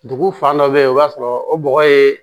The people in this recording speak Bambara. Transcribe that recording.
Dugu fan dɔ bɛ yen o b'a sɔrɔ o bɔgɔ ye